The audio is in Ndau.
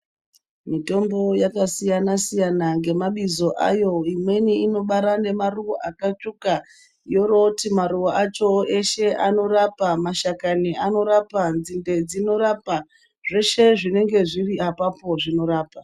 Mitombo yakasiyana siyana ngemabizo ayo imweni inobara ngemaruwa akatsvuka yoroti maruwa acho eshe anorapa mashakani anorapa nzinde dzinorapa zveshe zvinenga zviri apapo.